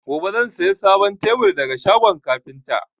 Gobe zan saya sabon tebur daga shagon kafinta